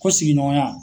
Ko sigiɲɔgɔnya